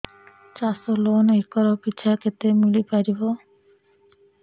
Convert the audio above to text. ଚାଷ loan acre ପିଛା କେତେ ମିଳି ପାରିବ